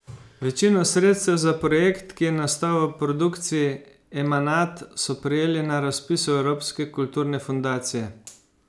Večino sredstev za projekt, ki je nastal v produkciji Emanat, so prejeli na razpisu Evropske kulturne fundacije.